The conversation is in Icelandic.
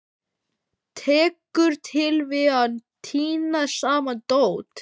Tekur til við að tína saman dót.